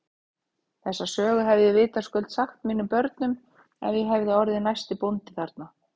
Þessa sögu hefði ég vitaskuld sagt mínum börnum ef ég hefði orðið næsti bóndi þarna.